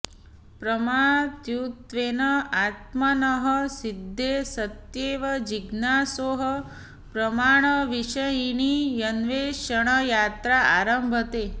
प्रमातृत्वेन आत्मनः सिद्धे सत्येव जिज्ञासोः प्रमाणविषयिणी अन्वेषणयात्रा आरभते